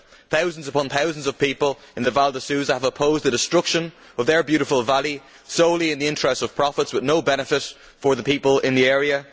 Thousands upon thousands of people in the Val di Susa have opposed the destruction of their beautiful valley solely in the interests of profits with no benefit for the people in the area.